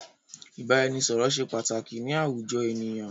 Ìbáraẹnisọ̀rọ̀ ṣé pàtàkì ni àwùjọ ènìyàn.